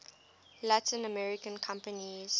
latin american countries